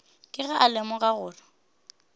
ke ge a lemoga gore